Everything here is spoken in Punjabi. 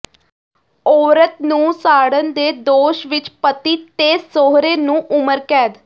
ਔਰਤ ਨੂੰ ਸਾੜਨ ਦੇ ਦੋਸ਼ ਵਿਚ ਪਤੀ ਤੇ ਸਹੁਰੇ ਨੂੰ ਉਮਰ ਕੈਦ